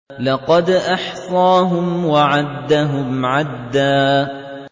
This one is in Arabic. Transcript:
لَّقَدْ أَحْصَاهُمْ وَعَدَّهُمْ عَدًّا